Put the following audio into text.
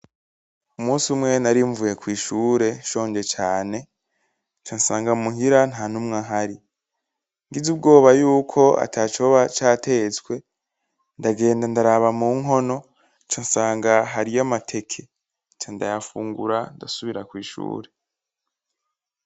Umusi umwe nari mvuye kw'ishure nshonje cane, nca nsanga muhira nta numwe ahari. Ngize ubwoba yuko atacoba catetswe, ndagenda ndaraba mu nkono nca nsanga hariyo amateke, nca ndayafungura ndasubira kw'ishure.